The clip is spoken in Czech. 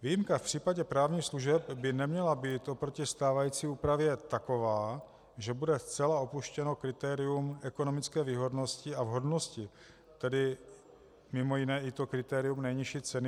Výjimka v případě právních služeb by neměla být oproti stávající úpravě taková, že bude zcela opuštěno kritérium ekonomické výhodnosti a vhodnosti, tedy mimo jiné i to kritérium nejnižší ceny.